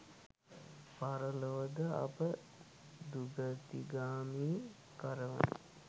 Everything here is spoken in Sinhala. පරලොව ද අප දුගතිගාමී කරවන